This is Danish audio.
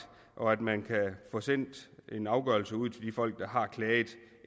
og at man kan få sendt en afgørelse ud til de folk der har klaget